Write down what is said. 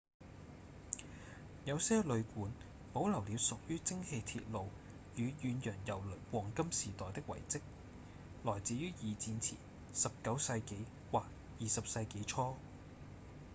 有些旅館保留了屬於蒸氣鐵路與遠洋郵輪黃金時代的遺跡來自於二戰前19世紀或20世紀初